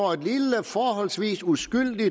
forholdsvis uskyldig